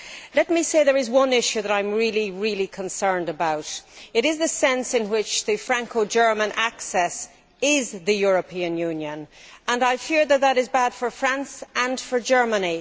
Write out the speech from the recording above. Let me say that there is one issue that I am really concerned about. It is the sense in which the Franco German axis is the European Union. I fear that this is bad for France and for Germany.